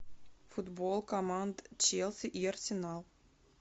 футбол команд челси и арсенал